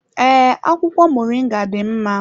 Ee, akwụkwọ moringa dị mma.